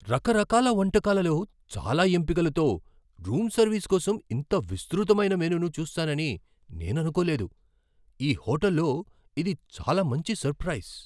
రకరకాల వంటకాలలో చాలా ఎంపికలతో రూం సర్వీస్ కోసం ఇంత విస్తృతమైన మెనూను చూస్తానని నేను అనుకోలేదు. ఈ హోటల్లో ఇది చాలా మంచి సర్ప్రైస్!